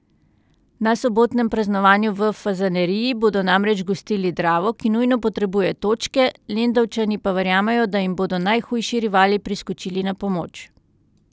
Na sobotnem praznovanju v Fazaneriji bodo namreč gostili Dravo, ki nujno potrebuje točke, Lendavčani pa verjamejo, da jim bodo najhujši rivali priskočili na pomoč.